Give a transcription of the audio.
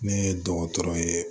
Ne ye dɔgɔtɔrɔ ye